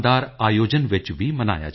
जब तक जाति न जात